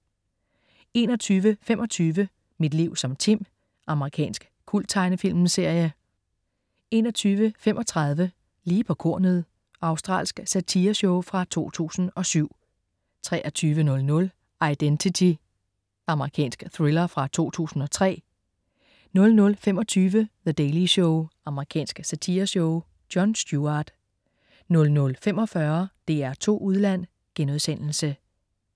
21.25 Mit liv som Tim. Amerikansk kulttegnefilmsserie 21.35 Lige på kornet. Australsk satireshow fra 2007 23.00 Identity. Amerikansk thriller fra 2003 00.25 The Daily Show. Amerikansk satireshow. Jon Stewart 00.45 DR2 Udland*